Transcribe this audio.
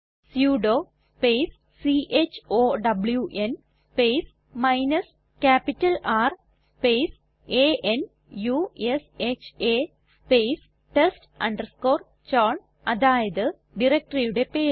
sudo space chown space minus capital R space a n u s h അ space test chown അതായത് directoryയുടെ പേര്